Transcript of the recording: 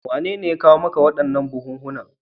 Wanene ya kawo maka waɗannan buhunhunan?